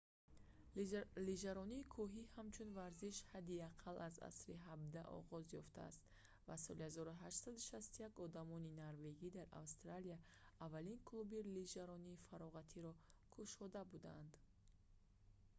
лижаронии кӯҳӣ ҳамчун варзиш ҳадди ақал аз асри 17 оғоз ёфтааст ва соли 1861 одамони норвегӣ дар австралия аввалин клуби лижаронии фароғатиро кушода буданд